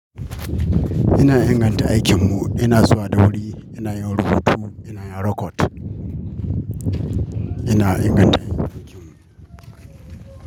Ina inganta aikinmu, ina zuwa da wuri, ina yin rubutu, inayin rokot, ina inganta aikinmu.